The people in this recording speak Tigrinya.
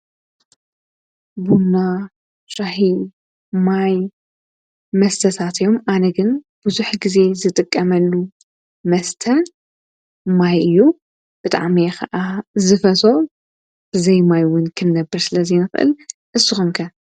ቡና፣ ፣ሻሂ፣ ማይ መስተታት እዮም፡፡ ኣነ ግን ቡዙሕ ግዜ ዝጥቀመሉ መስተ ማይ እዩ፡፡ ብጣዕሚ እየ ከዓ ዝፈትዎ፡፡ ብዘይ ማይ እውን ክንነብር ስለ ዘይንክእል፡፡ ንስኩም ከ?